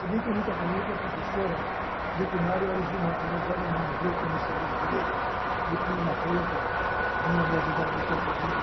Se bem que eu nunca apanhei, porque a professora do primário elas eram humanas e eu, que não enxergava direito, me punha na frente e vinha me ajudar e a editar para mim.